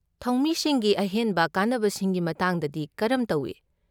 ꯊꯧꯃꯤꯁꯤꯡꯒꯤ ꯑꯍꯦꯟꯕ ꯀꯥꯟꯅꯕꯁꯤꯡꯒꯤ ꯃꯇꯥꯡꯗꯗꯤ ꯀꯔꯝ ꯇꯧꯏ?